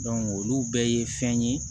olu bɛɛ ye fɛn ye